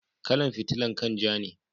Kala'n fitilan kai'n ja ne.